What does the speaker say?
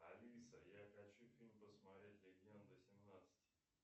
алиса я хочу фильм посмотреть легенда семнадцать